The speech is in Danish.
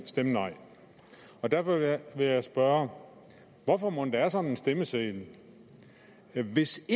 stemme nej og derfor vil jeg spørge hvorfor mon der er sådan en stemmeseddel hvis